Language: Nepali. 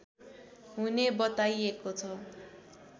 हुने बताइएको छ